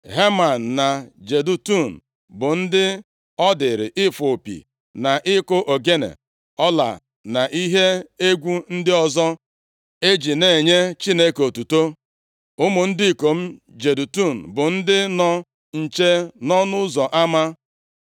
Heman na Jedutun bụ ndị ọ dịịrị ịfụ opi, na ịkụ ogene ọla, na ihe egwu ndị ọzọ eji na-enye Chineke otuto. Ụmụ ndị ikom Jedutun bụ ndị nọ nche nʼọnụ ụzọ ama.